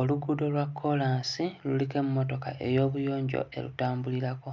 Oluguudo lwa kkolaasi luliko emmotoka ey'obuyonjo erutambulirako.